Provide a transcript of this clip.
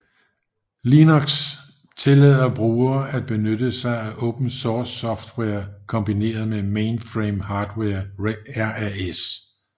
Linux tillader brugere at benytte sig af open source software kombineret med mainframe hardware RAS